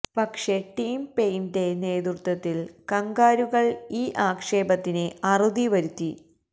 പക്ഷെ ടിം പെയ്ന്റെ നേതൃത്വത്തില് കംഗാരുകള് ഈ ആക്ഷേപത്തിന് അറുതി വരുത്തി